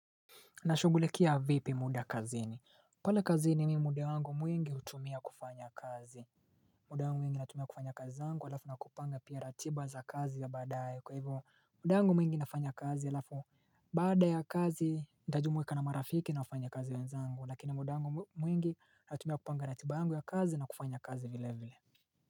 Nashugulikia vipi muda kazini pale kazini mimi muda wangu mwingi hutumia kufanya kazi muda wangu mwingi natumia kufanya kazi zangu alafu na kupanga pia ratiba za kazi za badaye kwa hivyo muda wangu mwingi nafanya kazi alafu Bada ya kazi ndajumuika na marafiki na wafanya kazi wenzangu lakini muda wangu mwingi natumia kupanga ratiba wangu ya kazi na kufanya kazi vile vile.